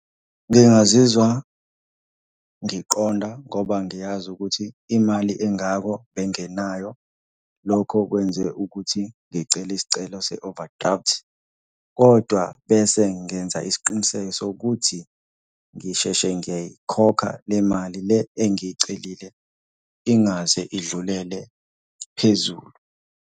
Ngingazizwa ngiqonda ngoba ngiyazi ukuthi imali engako bengenayo. Lokho kwenze ukuthi ngicele isicelo se-overdraft, kodwa bese ngenza isiqiniseko sokuthi ngisheshe ngiyayikhokha le mali le engiyicelile ingaze idlulele phezulu.